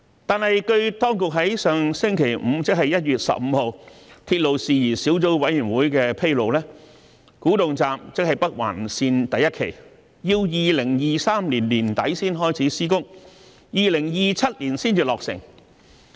但是，據當局在上星期五的鐵路事宜小組委員會會議上披露，古洞站要待2023年年底才開始施工，並在2027年才落成。